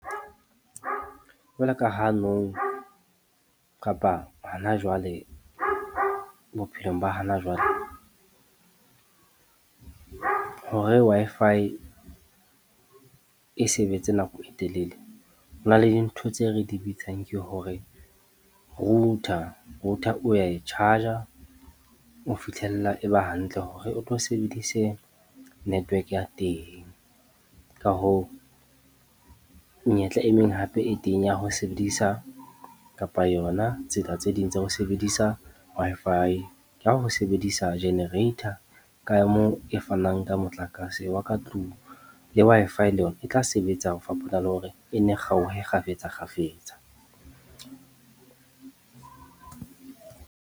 Jwaloka ha nou kapa hona jwale bophelong ba hano jwale hore Wi-Fi e sebetse nako e telele, ho na le dintho tseo re di bitsang ke hore router, router o ya e charge-a ho fihlella e ba hantle hore o tlo sebedise network ya teng. Ka hoo, menyetla e meng hape e teng ya ho sebedisa kapa yona tsela tse ding tsa ho sebedisa Wi-Fi ka ho sebedisa generator ka moo e fanang ka motlakase wa ka tlung le Wi-Fi le yona e tla sebetsa ho fapana le hore e nne kgaohe kgafetsa-kgafetsa.